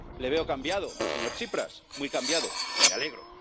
Le veo cambiado, señor Tsipras, muy cambiado, y me alegro.